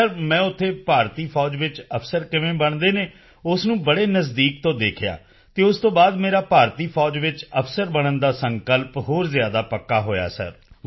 sir ਮੈਂ ਉੱਥੇ ਭਾਰਤੀ ਫੌਜ ਵਿੱਚ ਅਫਸਰ ਕਿਵੇਂ ਬਣਦੇ ਹਨ ਉਸ ਨੂੰ ਬੜੇ ਨਜ਼ਦੀਕ ਤੋਂ ਦੇਖਿਆ ਹੈ ਅਤੇ ਉਸ ਤੋਂ ਬਾਅਦ ਮੇਰਾ ਭਾਰਤੀ ਫੌਜ ਵਿੱਚ ਅਫਸਰ ਬਣਨ ਦਾ ਸੰਕਲਪ ਹੋਰ ਜ਼ਿਆਦਾ ਪੱਕਾ ਹੋਇਆ ਹੈ ਸਰ